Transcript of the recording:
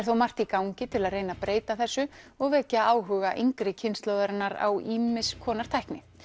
þó margt í gangi til að reyna breyta þessu og vekja áhuga yngri kynslóðarinnar á ýmiss konar tækni